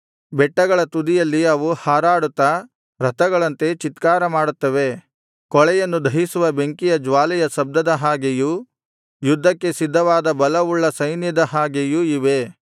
ಬೆಟ್ಟಗಳ ತುದಿಯಲ್ಲಿ ಅವು ಹಾರಾಡುತ್ತ ರಥಗಳಂತೆ ಚೀತ್ಕಾರ ಮಾಡುತ್ತವೆ ಕೂಳೆಯನ್ನು ದಹಿಸುವ ಬೆಂಕಿಯ ಜ್ವಾಲೆಯ ಶಬ್ದದ ಹಾಗೆಯೂ ಯುದ್ಧಕ್ಕೆ ಸಿದ್ಧವಾದ ಬಲವುಳ್ಳ ಸೈನ್ಯದ ಹಾಗೆಯೂ ಇವೆ